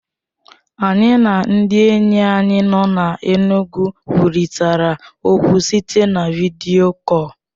Anyị na ndị enyi anyị nọ n'Enugwu kwurịtara okwu site na vidiyo kọl.